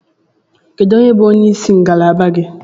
Kedu onye bụ onye isi ngalaba gị?